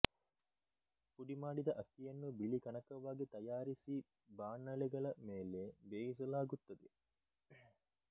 ಪುಡಿಮಾಡಿದ ಅಕ್ಕಿಯನ್ನು ಬಿಳಿ ಕಣಕವಾಗಿ ತಯಾರಿಸಿ ಬಾಣಲೆಗಳ ಮೇಲೆ ಬೇಯಿಸಲಾಗುತ್ತದೆ